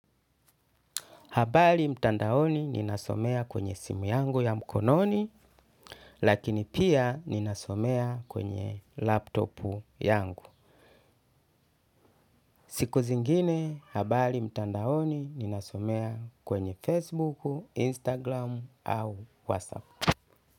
Habari mtandaoni ninasomea kwenye simu yangu ya mkononi, lakini pia ninasomea kwenye laptop yangu. Siku zingine, habali mtandaoni ninasomea kwenye Facebook, Instagram au WhatsApp.